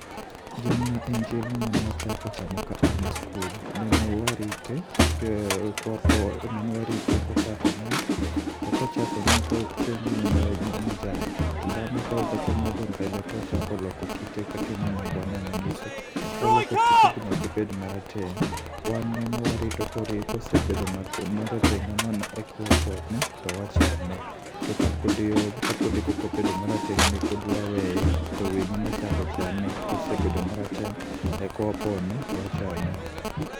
Jamna en chiemo manachako chamo ka an e skul, nene warite kwapon, nene warite kochako nyak. To kochako nyak koka en gima majan, to beng'e komedo mbele tochako loko kite kakineno bwana ni ng'iso. Oloko kite banyako bed marateng', wan ne warito kosebedo marateng' hamano eka wapone to wachame. To ka podi, kapodi pokobedo marateng' ne pod waweye to winy ema chako chame. Kosebedo marateng' eka wapone to wachame.